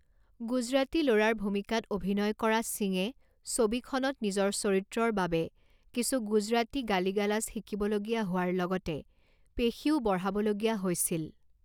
গুজৰাটী ল'ৰাৰ ভূমিকাত অভিনয় কৰা সিঙে ছবিখনত নিজৰ চৰিত্ৰৰ বাবে কিছু গুজৰাটী গালি গালাজ শিকিবলগীয়া হোৱাৰ লগতে পেশীও বঢ়াব লগীয়া হৈছিল।